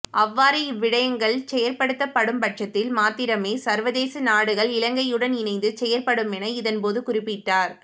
அவ்வாறு இவ்விடயங்கள் செயற்படுத்தப்படும் பட்சத்தில் மாத்திரமே சர்வதேச நாடுகள் இலங்கையுடன் இணைந்து செயயற்படுமென இதன்போது குறிப்பிட்டார்